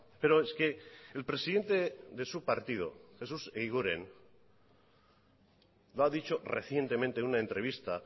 pero es que el presidente de su partido jesús eguiguren lo ha dicho recientemente en una entrevista